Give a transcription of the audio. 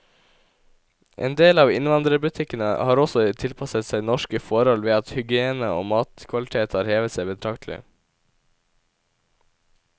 En del av innvandrerbutikkene har også tilpasset seg norske forhold ved at hygiene og matkvalitet har hevet seg betraktelig.